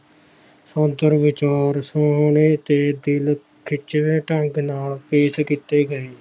ਪੱਧਰ ਵਿਚਾਰ ਸੁਹਾਲੇ ਤੇ ਖਿੱਚਵੇਂ ਢੰਗ ਨਾਲ ਪੇਸ਼ ਕਿੱਤੇ ਗਏ